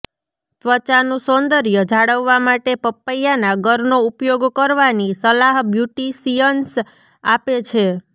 ત્વચાનું સૌંદર્ય જાળવવા માટે પપૈયાના ગરનો ઉપયોગ કરવાની સલાહ બ્યુટિશીયન્સ આપે છે